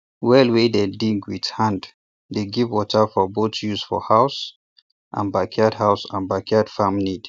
well wey dey dig with hand dey give water for both use for house and backyard house and backyard farm need